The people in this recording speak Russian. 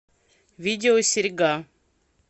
видео серьга